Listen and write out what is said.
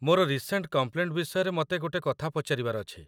ମୋର recent complaint ବିଷୟରେ ମତେ ଗୋଟେ କଥା ପଚାରିବାର ଅଛି ।